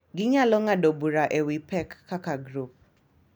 Ginyalo ng’ado bura e wi pek kaka grup,